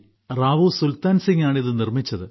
റാവു സുൽത്താൻസിംഗ് ആണ് ഇത് നിർമ്മിച്ചത്